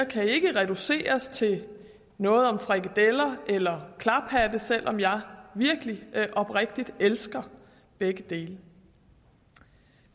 kan ikke reduceres til noget om frikadeller eller klaphatte selv om jeg virkelig oprigtigt elsker begge dele